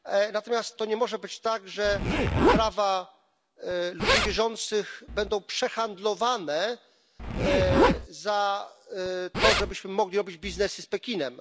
Natomiast to nie może być tak, że prawa ludzi wierzących będą przehandlowane za to, żebyśmy mogli robić biznesy z Pekinem.